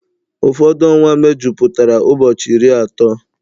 Ụfọdụ ọnwa mejupụtara ụbọchị iri atọ